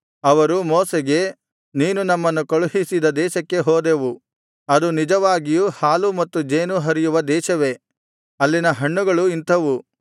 ಅವರು ಮೋಶೆಗೆ ನೀನು ನಮ್ಮನ್ನು ಕಳುಹಿಸಿದ ದೇಶಕ್ಕೆ ಹೋದೆವು ಅದು ನಿಜವಾಗಿಯೂ ಹಾಲೂ ಮತ್ತು ಜೇನೂ ಹರಿಯುವ ದೇಶವೇ ಅಲ್ಲಿನ ಹಣ್ಣುಗಳು ಇಂಥವು